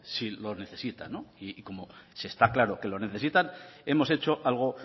si lo necesita y como se está claro que lo necesitan hemos hecho algo